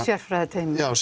sérfræðiteymi já